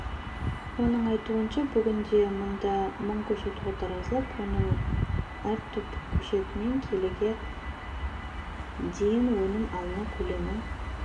оның айтуынша бүгінде мұнда мың көшет отырғызылып оның әр түп көшетінен келіге дейін өнім алынады көлемі